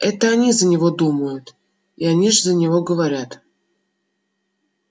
это они за него думают и они же за него говорят